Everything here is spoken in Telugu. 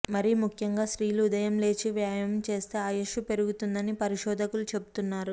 మరి ముఖ్యంగా స్త్రీలు ఉదయం లేచి వ్యాయమం చేస్తే ఆయుస్సు పెరుగుతుందని పరిశోధకులు చెబుతున్నారు